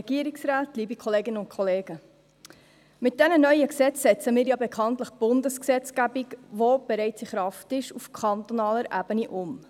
Mit diesen neuen Gesetzen setzen wir ja bekanntlich Bundesgesetzgebung, die bereits in Kraft ist, auf kantonaler Ebene um.